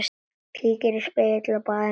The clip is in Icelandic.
Kíkir í spegil á baðinu.